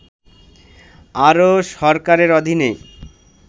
আরও সরকারের অধীনে